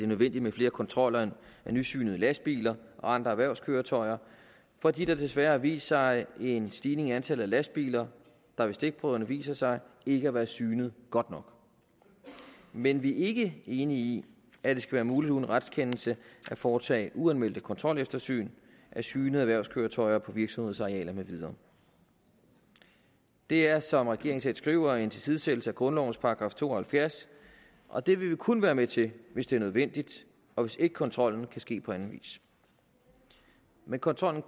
nødvendigt med flere kontroller af nysynede lastbiler og andre erhvervskøretøjer fordi der desværre har vist sig en stigning i antallet af lastbiler der ved stikprøverne viser sig ikke at være synet godt nok men vi er ikke enige i at det skal være muligt uden retskendelse at foretage uanmeldte kontroleftersyn af synede erhvervskøretøjer på virksomhedsarealer med videre det er som regeringen selv skriver en tilsidesættelse af grundlovens § to og halvfjerds og det vil vi kun være med til hvis det er nødvendigt og hvis ikke kontrollen kan ske på anden vis men kontrollen